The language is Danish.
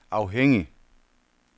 afhængig